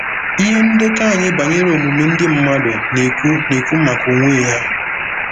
Ihe ndekọ anyị banyere omume ndị mmadụ na-ekwu na-ekwu maka onwe ya.